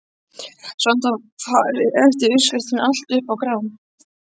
Samt var farið eftir uppskriftinni, alltaf upp á gramm.